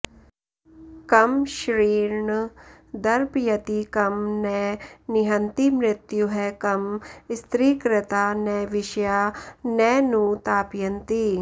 कं श्रीर्न दर्पयति कं न निहन्ति मृत्युः कं स्त्रीकृता न विषया न नु तापयन्ति